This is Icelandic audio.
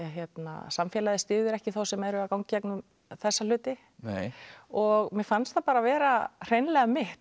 samfélagið styður ekki þá sem eru að ganga í gegnum þessa hluti nei og mér fannst það vera hreinlega mitt